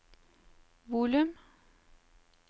volum